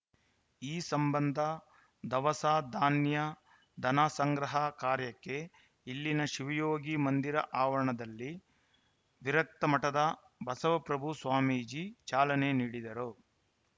ಈ ಸಂಬಂಧ ದವಸಧಾನ್ಯ ಧನ ಸಂಗ್ರಹ ಕಾರ್ಯಕ್ಕೆ ಇಲ್ಲಿನ ಶಿವಯೋಗಿ ಮಂದಿರ ಆವರಣದಲ್ಲಿ ವಿರಕ್ತ ಮಠದ ಬಸವಪ್ರಭು ಸ್ವಾಮೀಜಿ ಚಾಲನೆ ನೀಡಿದರು